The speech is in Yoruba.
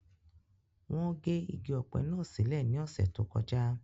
Wọ́n gé igi ọ̀pẹ̀ náà sílè ní ọ̀sẹ̀ tó kọjá